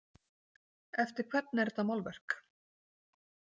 Eftir hvern er þetta málverk?